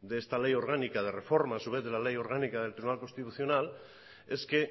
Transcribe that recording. de esta ley orgánica de reforma a su vez de la ley orgánica del tribunal constitucional es que